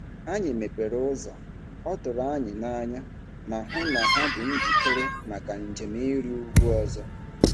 Anyị mepere ụzọ, ọ tụrụ anyị n'anya, ma hụ na ha dị njikere maka njem ịrị ugwu ọzọ.